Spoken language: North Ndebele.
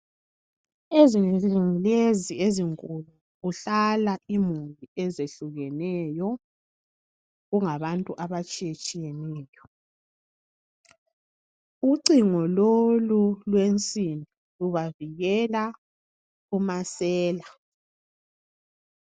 Ezindlini lezi ezinkulu kuhlala imuli ezehlukeneyo, kungabantu abatshiyetshiyeneyo. Ucingo lolu lwensimbi lubavikela kumasela